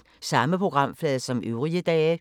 Samme programflade som øvrige dage